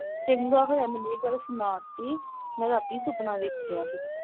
ਚੰਗਾ ਹੋਇਆ ਮੈਨੂੰ ਇਹ ਗੱਲ ਸੁਣਾ ਤੀ ਮੈਂ ਰਾਤੀ ਸੁਪਨਾ ਵੇਖਿਆ ਹੀ